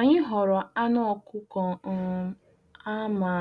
Anyị họrọ anụ ọkụkọ um a ma